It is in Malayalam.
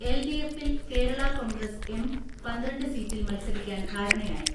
എൽ ഡി എഫിൽ കേരളാ കോൺഗ്രസ് എം പന്ത്രണ്ട് സീറ്റിൽ മൽസരിക്കാൻ ധാരണയായി.